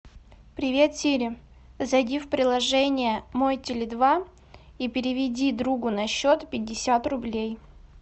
привет сири зайди в приложение мой теле два и переведи другу на счет пятьдесят рублей